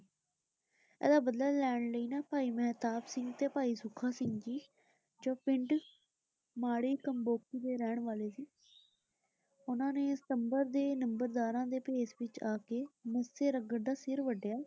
ਇਹਦਾ ਬਦਲਾ ਲੈਣ ਲਈ ਨਾ ਭਾਈ ਮਹਿਤਾਬ ਸਿੰਘ ਤੇ ਭਾਈ ਸੁੱਖਾ ਸਿੰਘ ਜੀ, ਜੋ ਪਿੰਡ ਮਾੜੀਕੰਬੋਕੀ ਦੇ ਰਹਿਣ ਵਾਲੇ ਸੀ, ਉਹਨਾ ਨੇ ਸੰਬਰ ਦੇ ਲੰਬਰਦਾਰਾਂ ਦੇ ਭੇਸ ਵਿਚ ਆ ਕੇ ਮੱਸੇ ਰੰਘੜ ਦਾ ਸਿਰ ਵੱਢਿਆ।